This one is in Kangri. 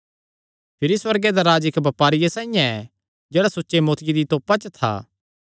भिरी सुअर्गे दा राज्ज इक्की बपारिये साइआं ऐ जेह्ड़ा सुच्चे मोतिआं दी तोपा च था